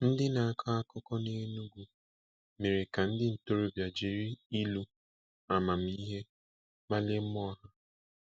Ndị na-akọ akụkọ n'Enugu mere ka ndị ntorobịa jiri ilu amamihe kpalie mmụọ ha.